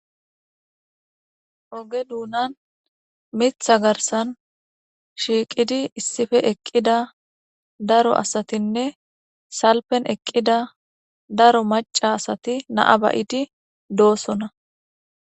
Oge duunan mitha garsan shiiqidi issife eqqida daro asatinne salpen eqqida daro maca asati naa bayidi doosona.